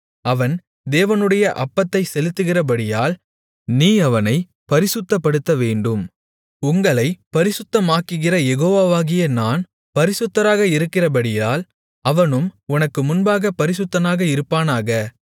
அவன் தேவனுடைய அப்பத்தைச் செலுத்துகிறபடியால் நீ அவனைப் பரிசுத்தப்படுத்தவேண்டும் உங்களைப் பரிசுத்தமாக்குகிற யெகோவாகிய நான் பரிசுத்தராக இருக்கிறபடியால் அவனும் உனக்கு முன்பாகப் பரிசுத்தனாக இருப்பானாக